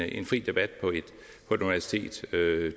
en fri debat på et universitet